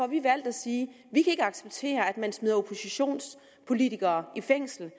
vi valgt at sige vi kan ikke acceptere at man smider oppositionspolitikere i fængsel